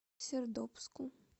сердобску